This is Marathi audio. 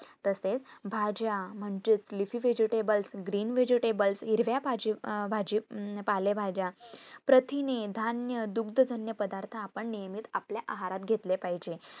तसेच भाज्या म्हणजेच life vegetablegreen vegetable म्हणजे हिरव्या भाजी हम्म भाजी अह पाले भाजा प्रथिने, धान्य, दुधजण पदार्थ आपण नेहेमीच आपल्या आहारात घेतले पाहिजे